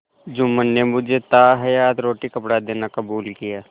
जुम्मन ने मुझे ताहयात रोटीकपड़ा देना कबूल किया